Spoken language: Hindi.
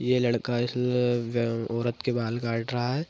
ये लड़का इस ल व औरत के बाल काट रहा है।